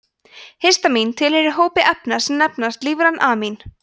histamín tilheyrir hópi efna sem nefnast lífræn amín